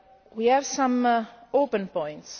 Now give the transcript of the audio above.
We have some open points.